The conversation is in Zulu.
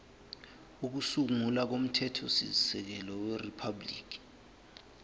kokusungula komthethosisekelo weriphabhuliki